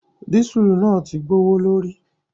Dísùlù náà ti gbowo lórí.